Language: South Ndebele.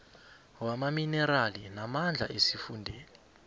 wamaminerali namandla esifundeni